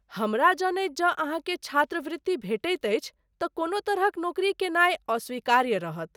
हमरा जनैत जँ अहाँकेँ छात्रवृति भेटैत अछि तँ कोनो तरहक नौकरी कयनाय अस्वीकार्य रहत।